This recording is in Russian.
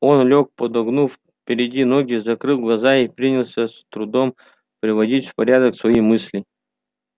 он лёг подогнув передние ноги закрыл глаза и принялся с трудом приводить в порядок свои мысли